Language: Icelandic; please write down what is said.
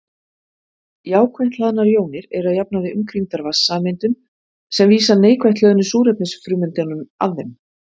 Jákvætt hlaðnar jónir eru að jafnaði umkringdar vatnssameindum sem vísa neikvætt hlöðnu súrefnisfrumeindunum að þeim.